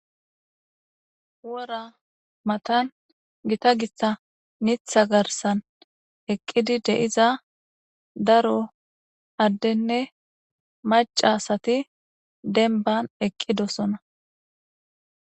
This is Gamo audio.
Wora matan gita githa mitha garsan eqqidi de7iza daro addenne macca asati dembban eqqidosona.